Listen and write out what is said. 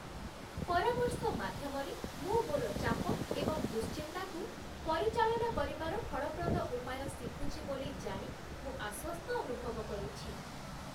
ପରାମର୍ଶ ମାଧ୍ୟମରେ, ମୁଁ ମୋର ଚାପ ଏବଂ ଦୁଶ୍ଚିନ୍ତାକୁ ପରିଚାଳନା କରିବାର ଫଳପ୍ରଦ ଉପାୟ ଶିଖୁଛି ବୋଲି ଜାଣି ମୁଁ ଆଶ୍ୱସ୍ତ ଅନୁଭବ କରୁଛି